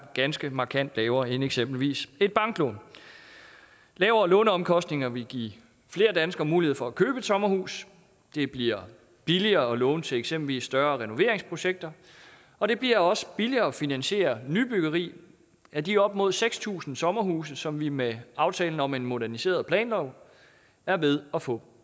ganske markant lavere end eksempelvis et banklån lavere låneomkostninger vil give flere danskere mulighed for at købe et sommerhus det bliver billigere at låne til eksempelvis større renoveringsprojekter og det bliver også billigere at finansiere nybyggeri af de op mod seks tusind sommerhuse som vi med aftalen om en moderniseret planlov er ved at få